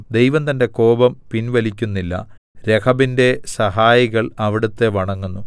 ദൈവം തന്റെ കോപം പിൻവലിക്കുന്നില്ല രഹബിന്റെ സഹായികൾ അവിടുത്തെ വണങ്ങുന്നു